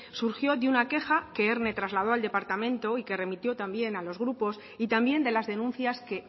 surgió de una queja que erne trasladó al departamento y que remitió también a los grupos y también de las denuncias que